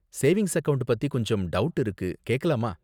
Savings account பத்தி கொஞ்சம் doubt இருக்கு, கேக்கலாமா?